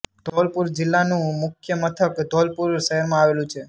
ધોલપુર જિલ્લાનું મુખ્ય મથક ધોલપુર શહેરમાં આવેલું છે